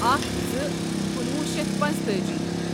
اکَھ زٕ کنُوہُ شیتھ پنژتأجی